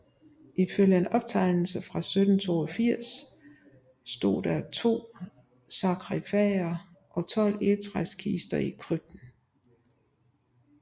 Ifølge en fortegnelse fra 1782 stod der da to sarkifager og 12 egetræskister i krypten